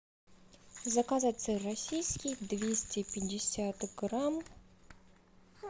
заказать сыр российский двести пятьдесят грамм